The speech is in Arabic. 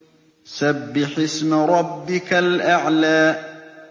سَبِّحِ اسْمَ رَبِّكَ الْأَعْلَى